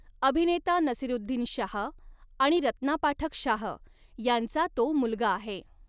अभिनेता नसीरुद्दीन शाह आणि रत्ना पाठक शाह ह्यांचा तो मुलगा आहे.